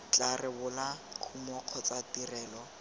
tla rebola kumo kgotsa tirelo